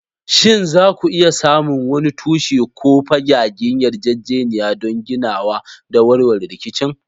Shin za ku iya samun wani tushe ko fagagen yarjejeniya don ginawa da warware rikicin?